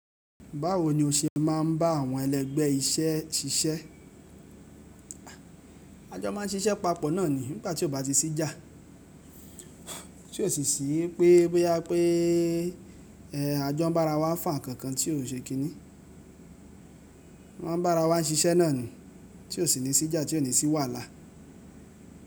Báwo ni o ṣe máa ń bá àwọn ẹlẹ́gbẹ́ iṣẹ́ ṣiṣẹ́? A jọ máa ń ṣiṣẹ́ papọ̀ náà ni nígbà tí ó bá ti sí ìjà. Tí ò sì sí pé bóyá pé ẹ, a jọ ń bára wa fà nkankan tí ò ṣe kíni. A ń bára wa ń ṣiṣẹ́ náà ni tí ò sì ní sí ìjà tí ò ní sì wàhálà.